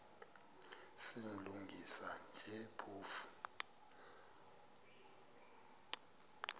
silungisa nje phofu